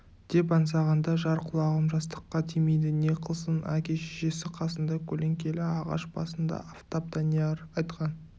деп аңсағанда жар құлағым жастыққа тимейді не қылсын әке-шешесі қасында көлеңкелі ағаш басында афтап данияр айтқан